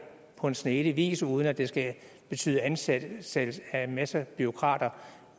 på en snedig vis uden at det skal betyde ansættelse af en masse bureaukrater